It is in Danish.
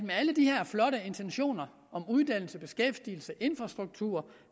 alle de her flotte intentioner om uddannelse beskæftigelse infrastruktur